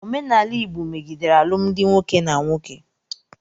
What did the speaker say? Omenala Igbo megidere alụmdi nwoke na nwoke.